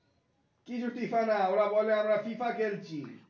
কিছু টিফা না ওরা বলে আমরা ফিফা খেলছি